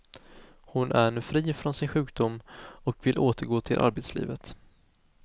Hon är nu fri från sin sjukdom och vill återgå till arbetslivet.